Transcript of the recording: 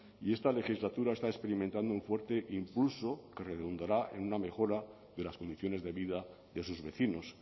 y esta legislatura está experimentando un fuerte impulso que redundará en una mejora de las condiciones de vida de sus vecinos